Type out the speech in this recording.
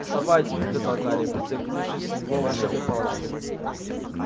вставайте приказал гарри прицелившись в него волшебной палочкой